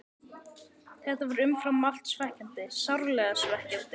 Þetta var umfram allt svekkjandi, sárlega svekkjandi.